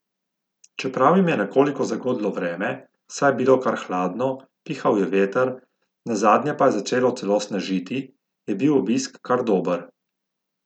Čeprav jim je nekoliko zagodlo vreme, saj je bilo kar hladno, pihal je veter, nazadnje pa je začelo celo snežiti, je bil obisk kar dober.